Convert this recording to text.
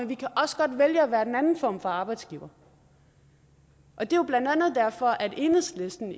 vi kan også godt vælge at være den anden form for arbejdsgiver og det er jo blandt andet derfor enhedslisten